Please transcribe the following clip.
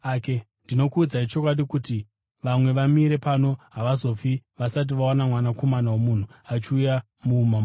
Ndinokuudzai chokwadi kuti vamwe vamire pano havazofi vasati vaona Mwanakomana woMunhu achiuya muumambo hwake.”